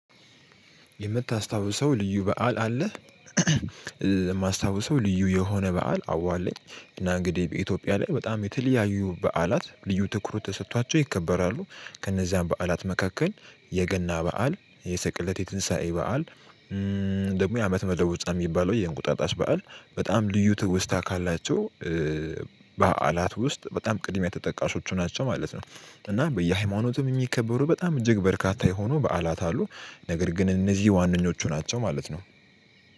የምታስታውሰው ልዩ በዓል አለህ? እማስታውሰው ልዩ የሆነ በዓል አዎ አለኝ። እና እንግዲህ በኢትዮጵያ ላይ በጣም የተለያየ በዓላት ልዩ ትኩረት ተሰቷቸው ይከበራሉ። ከነዛም በዓላት መካከል የገና በዓል የሰቅለት የትንሳኤ በዓል። ደግሞ የአመት መለወጫ እሚባለው የእንቁጣጣሽ በዓል በጣም ልዩ ትውስታ ካላቸው በዓላት ውስጥ በጣም ቅድሚያ ተጠቃሾች ናቸው ማለት ነው። እና በየሃይማኖትም የሚከበሩ በጣም እጅግ በርካታ የሆኑ በዓላት አሉ። ነገር ግን እነዚህ ዋነኞቹ ናቸው ማለት ነው።